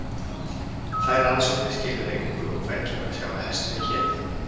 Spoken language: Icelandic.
þær rannsóknir skiluðu engu og hvergi var að sjá að hesturinn héti eitthvað